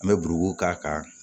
An bɛ k'a kan